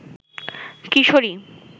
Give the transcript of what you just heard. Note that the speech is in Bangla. কিশোরী